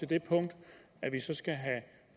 det punkt at vi så skal have